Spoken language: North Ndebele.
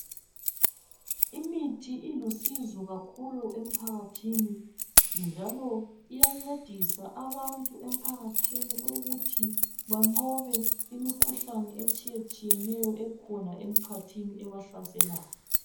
Imithi ilusizo kakhulu emphakathini njalo iyancedisa abantu ukuthi banqobe imikhuhlane etshiyetshiyeneyo ekhona emkhathini ebahlaselayo.